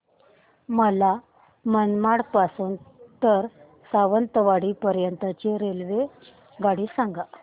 मला मनमाड पासून तर सावंतवाडी पर्यंत ची रेल्वेगाडी सांगा